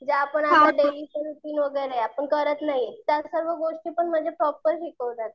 जे आपण करत नाही त्या सर्व गोष्टीपण म्हणजे प्रॉपर शिकवतात.